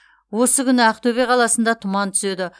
осы күні ақтөбе қаласында тұман түседі